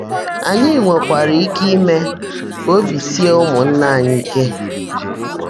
Anyị nwekwara ike ime ka obi sie ụmụnna anyị ike.